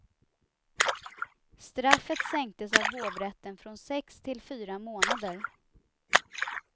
Straffet sänktes av hovrätten från sex till fyra månader.